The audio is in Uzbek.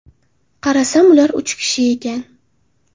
Qarasam ular uch kishi ekan.